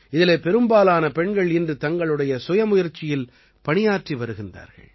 இதிலே பெரும்பாலான பெண்கள் இன்று தங்களுடைய சுய முயற்சியில் பணியாற்றி வருகிறார்கள்